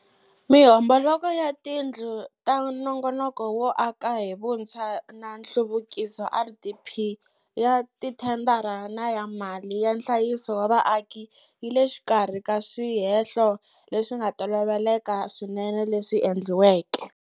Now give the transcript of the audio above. Mihomboloko ya tindlu ta Nongonoko wo aka hi Vuntshwa na Nhluvukiso, RDP, ya tithendara na ya mali ya nhlayiso wa vaaki yi le xikarhi ka swihehlo leswi nga toloveleka swinene leswi endliweke.